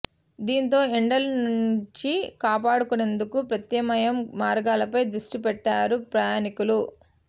దీంతో ఎండల నుంచి కాపాడుకునేందుకు ప్రత్యామ్నాయ మార్గాలపై దృష్టి పెట్టారు ప్రయాణికులు